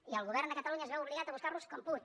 i el govern de catalunya es veu obligat a buscar los com pot